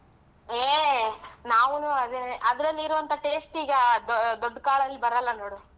ಏ ನಾವುನು ಅದನ್ನೇ, ಅದ್ರಲ್ಲಿರೋ ಅಂತ taste ಈಗ ದೊ~ ದೊಡ್ಡ ಕಾಳಲ್ ಬರಲ್ಲ ನೋಡು.